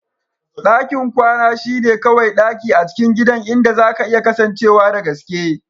Dakin kwana shine kawai daki a cikin gidan inda zaka iya kasancewa da gaske.